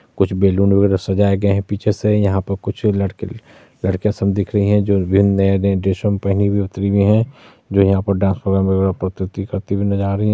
कुछ बैलून वगैरा सजाया गया है पीछे से। यहां पे कुछ लड़क- लड़कियां सब दिख रही है जो भिन्न नए- नए ड्रेसों मे पहनी हुए उतरी हुई है जो यहां पर डांस प्रोग्राम प्रस्तुत करती हुई नज़र आ रही है।